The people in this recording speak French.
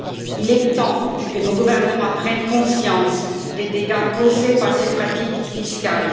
Il est temps que nos gouvernements prennent conscience des dégâts causés par ces pratiques fiscales.